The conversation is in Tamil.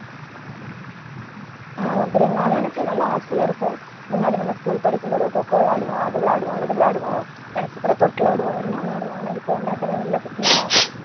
ஆமா பிரியங்கா அனா எனக்கு நல்லா ஆசையா இருக்கும் முன்னாடி நம்ம school படிக்கும் போதோ coco விளையாடுவோம் அது விளையாடுவோம் இது விளையாடுவோம் நினைச்சு கூட தொட்டில் ஆடுவோம் எல்லாம் விளையாடுவோம் ஆனா இப்ப வந்து அதெல்லாம் இல்லை பாத்தியா